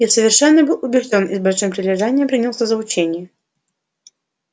я совершенно был убеждён и с большим прилежанием принялся за учение